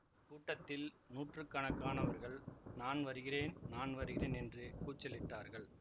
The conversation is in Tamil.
கூட்டத்தில் நூற்று கணக்கானவர்கள் நான் வருகிறேன் நான் வருகிறேன் என்று கூச்சலிட்டார்கள்